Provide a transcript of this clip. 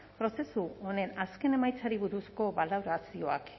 prozesu honen azken emaitzari buruzko balorazioak